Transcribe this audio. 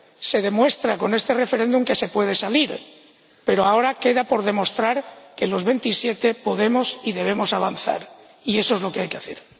Se demuestra con este referéndum que se puede salir, pero ahora queda por demostrar que los 27 podemos y debemos avanzar, y eso es lo que hay que hacer.